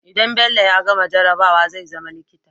idan bello ya gama jarabawa zai zama likita